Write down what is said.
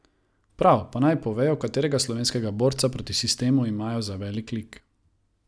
Prav, pa naj povejo, katerega slovenskega borca proti sistemu imajo za velik lik.